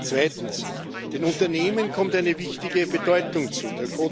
Zweitens Den Unternehmen kommt eine wichtige Bedeutung zu.